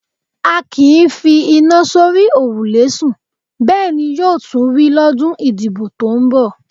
A kì í fi iná sórí òrùlé sùn, bẹ́ẹ̀ ní yóò tún rí lọ́dún ìdìbò tó ń bọ̀.